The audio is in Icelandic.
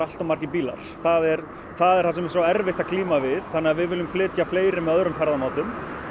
margir bílar það er það er það sem er svo erfitt að glíma við þannig að við viljum flytja fleiri með öðrum ferðamáta